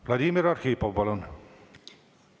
Vladimir Arhipov, palun!